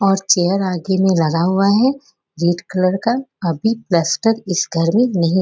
और चेयर आगे में लगा हुआ है। रेड कलर का अभी प्लास्टर इस घर में नहीं --